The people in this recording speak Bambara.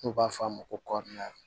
N'u b'a fɔ a ma ko kɔɔri